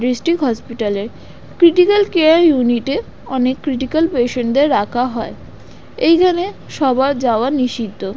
District hospital - এ critical care unit - এ অনেক ক্রিটিকাল পেশেন্ট দের রাখা হয় এইখানে সবার যাওয়া নিষিদ্ধ।